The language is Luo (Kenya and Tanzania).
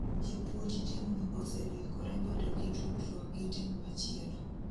Japuonj team no oseliekore bedo gi tudruok gi team machielo